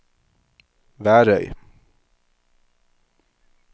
Værøy